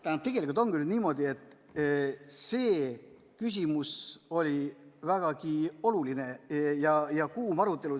Tähendab, tegelikult ongi nüüd niimoodi, et selle küsimuse üle oli vägagi oluline ja kuum arutelu.